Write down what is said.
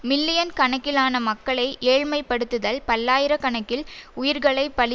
million கணக்கிலான மக்களை ஏழ்மைப்படுத்துதல் பல்லாயிரக்கணக்கில் உயிர்களைப்பலி